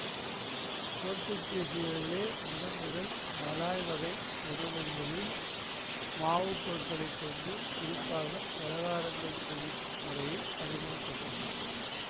போர்த்துகீசியர்களே முதன்முதல் மலாய் வகை உணவுகளில் மாவுப் பொருட்களை கொண்டு குறிப்பாக பலகாரங்கள் செய்யும் முறையை அறிமுக படுத்தினர்